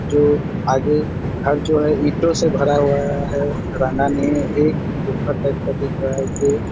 जो आगे घर जो है ईंटो से भरा हुआ है रहना नहीं है एक दिख रहा है जो--